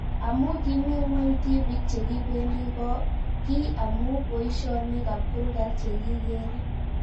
Ak amu kimii ng'weny tipik che kipendi ko kii amu poishonik ab kurgat che kikere